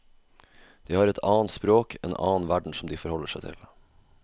De har et annet språk, en annen verden som de forholder seg til.